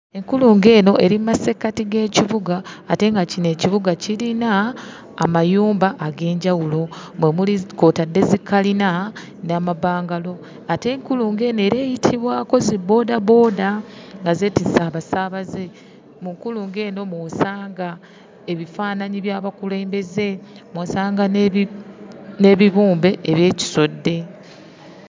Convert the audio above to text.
Enkulungo eno eri mu masekkati g'ekibuga ate nga kino ekibuga kirina amayumba ag'enjawulo omuli kw'otadde zikalina n'amabangalu ate enkulungo eno era eyitibwako zibboodabooda nga zeetisse abasaabaze. Mu nkulungo eno mw'osanga ebifaananyi by'abakulembeze, mw'osanga n'ebibumbe eby'ekisodde.